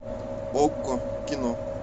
окко кино